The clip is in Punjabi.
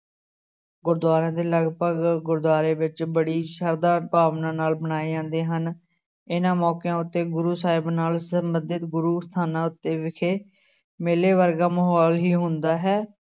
ਗੁਰਦੁਆਰਿਆਂ ਦੇ ਲਗਪਗ ਗੁਰਦੁਆਰੇ ਵਿੱਚ ਬੜੀ ਸਰਧਾ ਭਾਵਨਾ ਨਾਲ ਮਨਾਏ ਜਾਂਦੇ ਹਨ, ਇਹਨਾਂ ਮੌਕਿਆਂ ਉੱਤੇ ਗੁਰੂ ਸਾਹਿਬ ਨਾਲ ਸੰਬੰਧਤ ਗੁਰੂ ਸਥਾਨਾਂ ਉੱਤੇ ਵਿਖੇ ਮੇਲੇ ਵਰਗਾ ਮਾਹੌਲ ਹੀ ਹੁੰਦਾ ਹੈ।